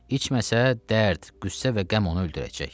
İçməsə dərd, qüssə və qəm onu öldürəcək.